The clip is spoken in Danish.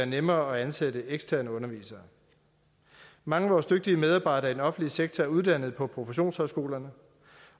nemmere at ansætte eksterne undervisere mange af vores dygtige medarbejdere i den offentlige sektor er uddannet på professionshøjskolerne